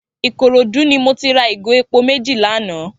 Ikorodu ni mó ti rà igó épó méji lànã